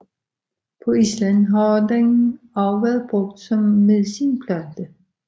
På Island har den også været brugt som medicinplante